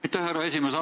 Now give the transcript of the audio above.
Aitäh, härra esimees!